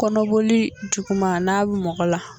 Kɔnɔboli juguman n'a bɛ mɔgɔ la